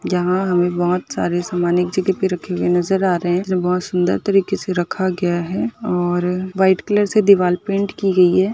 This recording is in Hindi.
यहाँ हमें बहुत सारे समान एक जगह पे रखे हुए नजर आ रहे हैं। बहुत सुन्दर तरीके से रखा गया है और व्हाइट कलर से दिवाल पैंट कि गई है।